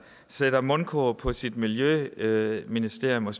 sætter mundkurv på sit miljøministerium og